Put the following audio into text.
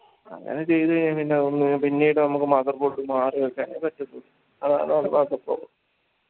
അങ്ങനെ ചെയ്ത് കയ്‌ന ഒന്ന് പിന്നീട് നമ്മക്ക് motherboard മാറി വെക്കാനേ പറ്റത്തുള്ളൂ